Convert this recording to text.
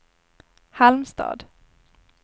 Halmstad